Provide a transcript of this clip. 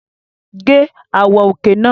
Gé àwọ̀ òkè náà!